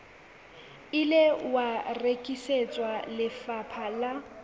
ile wa rekisetswa lefapha la